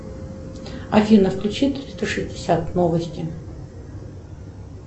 афина включи триста шестьдесят новости